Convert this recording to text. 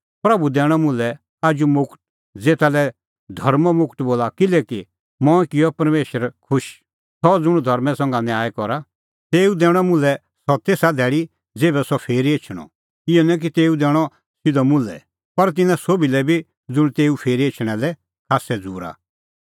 प्रभू दैणअ मुल्है आजू मुगट ज़ेता लै धर्मों मुगट बोला किल्हैकि मंऐं किअ परमेशर खुश सह ज़ुंण धर्मां संघै न्याय करा तेऊ दैणअ मुल्है सह तेसा धैल़ी ज़ेभै सह भी फिरी एछणअ इहअ निं कि तेऊ दैणअ सिधअ मुल्है पर तिन्नां सोभी लै बी ज़ुंण तेऊए फिरी एछणा लै खास्सै झ़ूरा